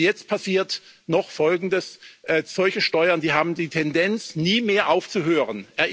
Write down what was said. Und jetzt passiert noch Folgendes Solche Steuern haben die Tendenz, nie mehr aufzuhören.